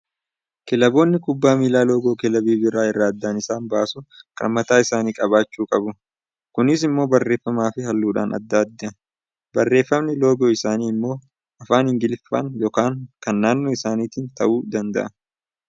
Kilaboonni kubbaa miillaa loogoo kilabii biraa irraa adda isaan baasuu kan mataa isaanii qabaachuu qabu. Kunis immoo barreefamaa fi halluudhaan adda adda. Barreeffamni loogoo isaanii immoo afaan Ingiliffaan yokaan kan naannoo isaaniitiin ta'uu danda'a.